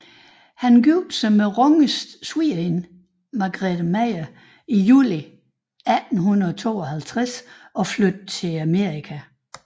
Han giftede sig med Ronges svigerinde Margarethe Meyer i juli 1852 og flyttede til Amerika